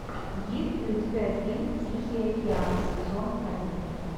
есть ли у тебя фильм тихий океан сезон один